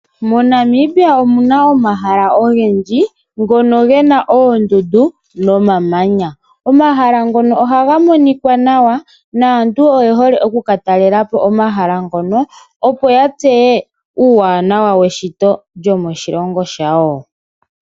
MoNamibia omuna omahala ongendji ngono ngena ondundu nomamanya, omahala ngono ohangamonika nawa naantu oyehole oku katalelapo omahala ngono opo yatseye uwanawa weshito lyomo shilongo shawo.